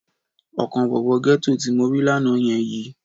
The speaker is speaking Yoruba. Ọkàn bọ̀bọ́ gẹ́tò tí mo rí lánàá yẹn yi.